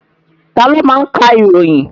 Taló ma ń ka ìròyìn?